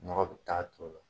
Nɔgɔ bi taa ton o la.